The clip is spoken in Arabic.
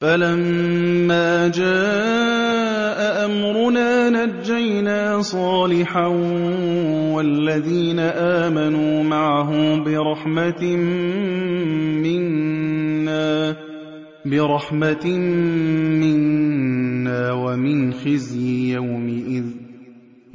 فَلَمَّا جَاءَ أَمْرُنَا نَجَّيْنَا صَالِحًا وَالَّذِينَ آمَنُوا مَعَهُ بِرَحْمَةٍ مِّنَّا وَمِنْ خِزْيِ يَوْمِئِذٍ ۗ